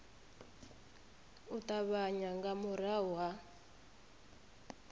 u ṱavhanya nga murahu ha